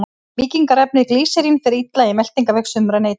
Mýkingarefnið glýserín fer illa í meltingarveg sumra neytenda.